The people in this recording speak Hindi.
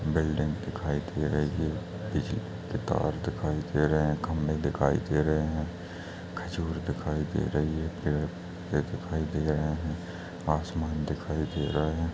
बिल्डिंग दिखाई दे रही है बिजली के तार दिखाई दे रहे है खम्भे दिखाई दे रहे हैं खजूर दिखाई दे रही है पेड़ पे दिखाई दे रहे हैं आसमान दिखाई दे रहा है।